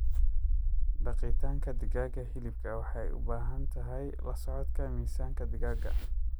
Daqitaanka digaaga hiliibka waxay u baahan tahay la socodka miisaanka digaaga.